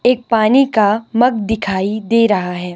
एक पानी का मग दिखाई दे रहा है।